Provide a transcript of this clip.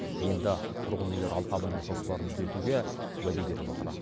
енді тұрғын үйлер алқабының жоспарын түзетуге уәде беріп отыр